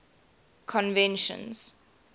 conventions